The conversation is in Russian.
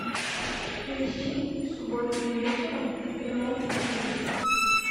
поищи субботним вечером в прямом эфире